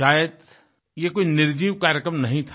शायद ये कोई निर्जीव कार्यक्रम नहीं था